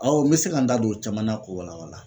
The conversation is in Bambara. Awɔ n be se ka n da don o caman na k'o wala wala